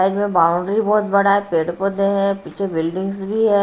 Side में boundary बहोत बड़ा है। पेड़ पौधे हैं पीछे बिल्डिंग्स भी है।